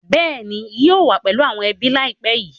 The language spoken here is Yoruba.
Bẹ́ẹ̀ni ń yìí ó wà pẹ̀lú àwọn ẹbí laipẹ́ yí